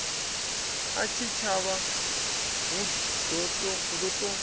a tshitshavha hu ḓo ṱo